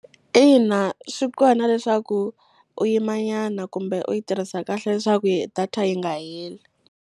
Ina, swi kona leswaku u yimanyana kumbe u yi tirhisa kahle leswaku yi data yi nga heli.